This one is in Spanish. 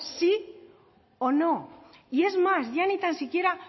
sí o no y es más ya ni tan siquiera